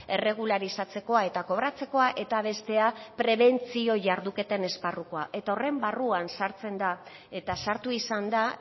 erregularizatzekoa eta kobratzekoa eta bestea prebentzio jarduketen esparrukoa eta horren barruan sartzen da eta sartu izan da